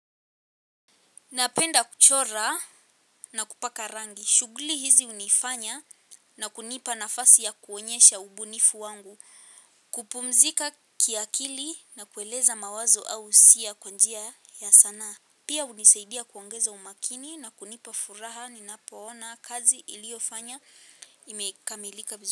Napenda kuchora na kupaka rangi. Shughuli hizi hunifanya na kunipa nafasi ya kuonyesha ubunifu wangu. Kupumzika kiakili na kueleza mawazo au hisia kwa njia ya sanaa. Pia hunisaidia kuongeza umakini na kunipa furaha ninapoona kazi niliofanya imekamilika vizuri.